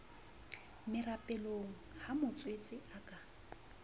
merapelong ha motswetse a ka